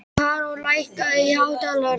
Karó, lækkaðu í hátalaranum.